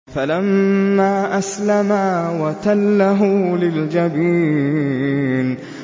فَلَمَّا أَسْلَمَا وَتَلَّهُ لِلْجَبِينِ